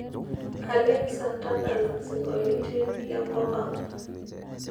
alexa tadala siongoliotin lenkop ang